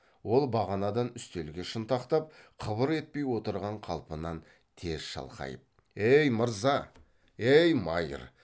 ол бағанадан үстелге шынтақтап қыбыр етпей отырған қалпынан тез шалқайып ей мырза ей майыр